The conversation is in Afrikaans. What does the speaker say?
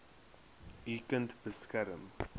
u kind beskerm